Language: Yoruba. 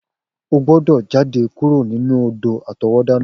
O gbọ́dọ̀ jade kuro nínú odò-àtọwọ́dá náà!